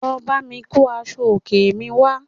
Lọ bámi kó aṣọ òkè mi wá